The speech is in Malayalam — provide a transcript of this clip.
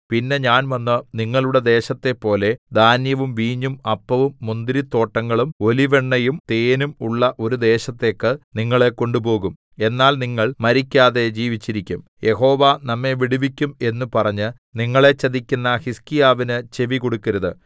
പിന്നെ ഞാൻ വന്ന് നിങ്ങളുടെ ദേശത്തേപ്പോലെ ധാന്യവും വീഞ്ഞും അപ്പവും മുന്തിരിത്തോട്ടങ്ങളും ഒലിവെണ്ണയും തേനും ഉള്ള ഒരു ദേശത്തേക്ക് നിങ്ങളെ കൊണ്ടുപോകും എന്നാൽ നിങ്ങൾ മരിക്കാതെ ജീവിച്ചിരിക്കും യഹോവ നമ്മെ വിടുവിക്കും എന്ന് പറഞ്ഞ് നിങ്ങളെ ചതിക്കുന്ന ഹിസ്കീയാവിന് ചെവികൊടുക്കരുത്